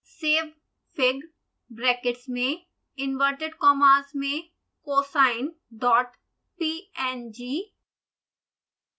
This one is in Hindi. savefig ब्रैकेट्स में इंवर्टेड कॉमास में cosinepng